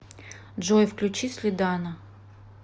джой включи слидана